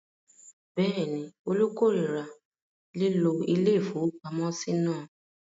Bẹ́ẹ̀ ni, Olú korira lílo ilé-ìfowópamọ́sí náà.